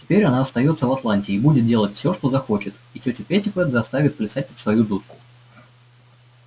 теперь она остаётся в атланте и будет делать всё что захочет и тётю питтипэт заставит плясать под свою дудку